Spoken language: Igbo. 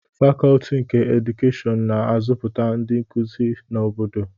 Fakọọti nke Edukeshịon na-azụpụta ndị nkuzi na obodo